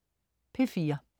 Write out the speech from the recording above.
P4: